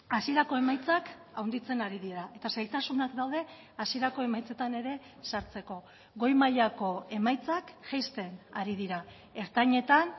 hasierako emaitzak handitzen ari dira eta zailtasunak daude hasierako emaitzetan ere sartzeko goi mailako emaitzak jaisten ari dira ertainetan